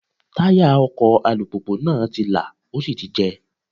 Táyà ọkọ̀ alùpùpù náà ti lá, ó sì ti jẹ́.